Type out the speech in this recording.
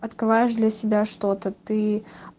открываешь для себя что-то ты